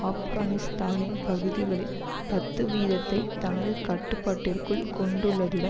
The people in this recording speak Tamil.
ஆப்கானிஸ்தானின் பகுதிகளில் பத்து வீதத்தை தனது கட்டுப்பாட்டிற்குள் கொண்டுள்ளதுடன்